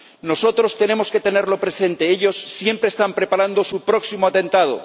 Nosotros tenemos que tenerlo presente ellos siempre están preparando su próximo atentado.